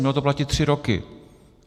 Ono to platí tři roky.